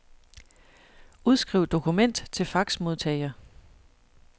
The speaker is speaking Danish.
Udskriv dokument til faxmodtager.